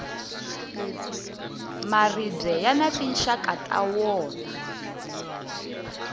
maribye yani tinxaka ta wona